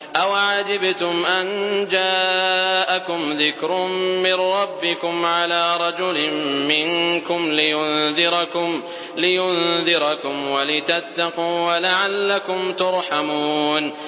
أَوَعَجِبْتُمْ أَن جَاءَكُمْ ذِكْرٌ مِّن رَّبِّكُمْ عَلَىٰ رَجُلٍ مِّنكُمْ لِيُنذِرَكُمْ وَلِتَتَّقُوا وَلَعَلَّكُمْ تُرْحَمُونَ